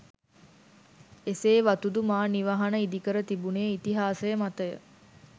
එසේ වතුදු මා නිවහන ඉදිකර තිබුණේ ඉතිහාසය මතය